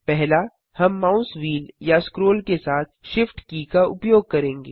पहला हम mouse wheel या स्क्रोल के साथ Shift की का उपयोग करेंगे